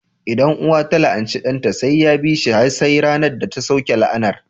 Idan uwa ta la'anci ɗanta, sai ya bi shi har sai ranar da ta sauke la'anar